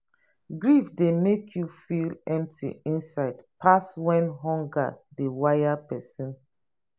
grief dey make you feel empty inside pass when hunger dey wire person